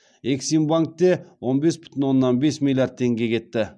эксимбанкте он бес бүтін оннан бес миллиард теңге кетті